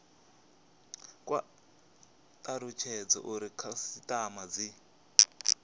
kwa talutshedza uri khasitama dzi